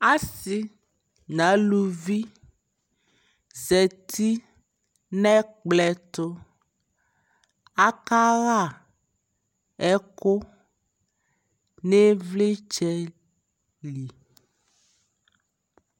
asii nʋ alʋvi zati nʋ ɛkplɔ ɛtʋ, aka ha ɛkʋ nʋ ivlitsɛ li